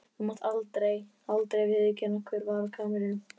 Þú mátt aldrei, aldrei viðurkenna hver var á kamrinum.